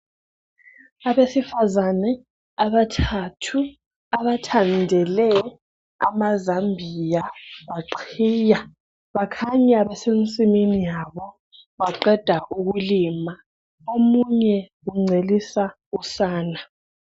Abasifazane abathathu abathandele amazambiya baqhiya bakhanya besensimini yabo baqeda ukulima omunye uncelisa usana